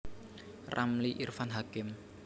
Ramli Irfan Hakim